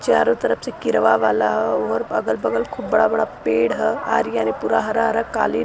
चारों तरफ़ से केरवा वाला ह और अगल-बगल खूब बड़ा बड़ा पेड़ ह आरी यानि पूरा हरा-हरा कालीन --